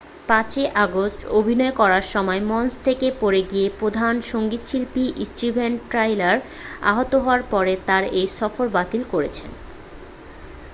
5'ই August অভিনয় করার সময় মঞ্চ থেকে পড়ে গিয়ে প্রধান সংগীতশিল্পী স্টিভেন টাইলার আহত হওয়ার পরে তারা এই সফর বাতিল করেছেন।